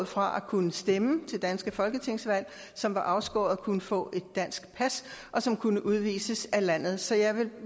fra at kunne stemme til danske folketingsvalg som var afskåret fra at kunne få et dansk pas og som kunne udvises af landet så jeg vil